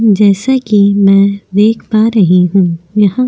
जैसा कि मैं देख पा रही हूं यहां --